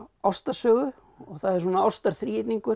ástarsögu og það er svona